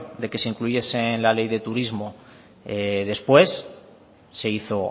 de que se incluyese la ley de turismo después se hizo